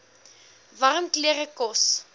warm klere kos